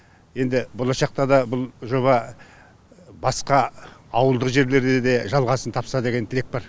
енді болашақта да бұл жоба басқа ауылдық жерлерде де жалғасын тапса деген тілек бар